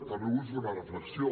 també vull fer una reflexió